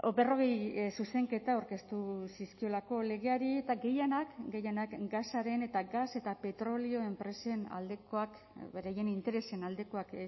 berrogei zuzenketa aurkeztu zizkiolako legeari eta gehienak gehienak gasaren eta gas eta petrolio enpresen aldekoak beraien interesen aldekoak